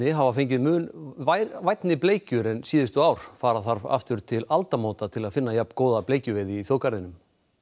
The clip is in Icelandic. hafa fengið mun vænni bleikjur en síðustu ár fara þarf aftur til aldamóta til að finna jafn góða bleikjuveiði í þjóðgarðinum